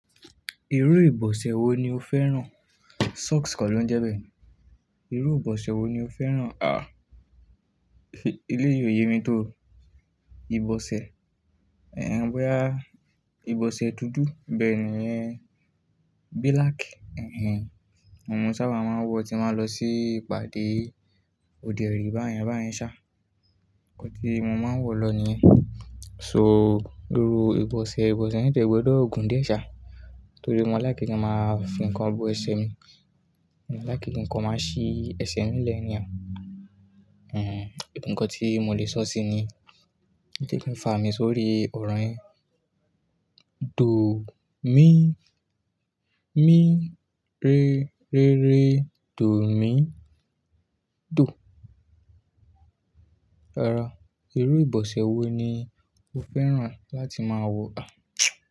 Irú ìbọ̀sẹ̀ wo ni o fẹ́ràn? Socks kọ̀ ló ń jẹ́ bẹ́ẹ̀ ni. Irú ìbọ̀sẹ̀ wo ni o fẹ́ràn? À, ilé yìí ò yé mi tó. Ìbọ̀sẹ̀, ẹ̀, boyá, ìbọ̀sẹ̀ dúdú bẹ́ẹ̀ ni, ẹ́, black, ẹ́, òun mo sábà máa ń wọ̀ tí máa lọ sí ìpàdé òde èrí báyẹn báyẹn ṣá. Ko tí mo máa ń wọ̀ lọ nìyẹn. So irú ìbọ̀sẹ̀, ìbọ̀sẹ̀ yẹn tiẹ̀ gbọ̀dọ́ gun di ẹ́ ṣá. Torí mo láì kí nǹkan máa fi ń kan bo ẹsẹ̀ mi. Lákìní ǹkan máa ṣí ẹsẹ̀ mi lé anyhow. Ẹ̀ nǹkan tí mo lè sọ́ sí ni. Ṣé kí n fàá mi sórí ọrọ yẹ? Dò ó mi mí rere, rere, dò mí dò. Rara, irú ìbọ̀sẹ̀ wo ni o fẹ́ràn láti máa wọ̀?